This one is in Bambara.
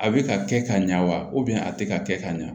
A bɛ ka kɛ ka ɲa wa a tɛ ka kɛ ka ɲa